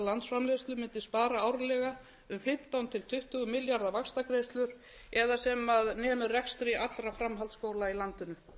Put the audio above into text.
landsframleiðslu mundi spara árlega um fimmtán til tuttugu milljarða vaxtagreiðslur eða sem nemur rekstri allra framhaldsskóla í landinu